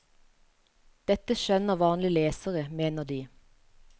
Dette skjønner vanlig lesere, mener de.